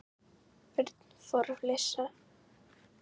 Örn fór að flissa.